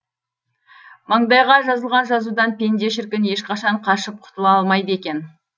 маңдайға жазылған жазудан пенде шіркін ешқашан қашып құтыла алмайды екен